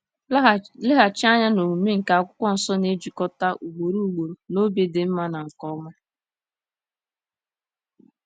Laghachi anya na omume nke Akwụkwọ Nsọ na-ejikọta ugboro ugboro na obi dị mma na nke ọma.